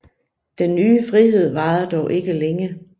Den nye frihed varede dog ikke længe